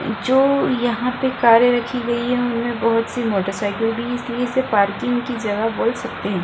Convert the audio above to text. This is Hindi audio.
जो यहाँ पे कारे रखी गई है उनमे बहुत सी मोटरसाइकिल भी इसलिए इसे पार्किंग की जगह बोल सकते है।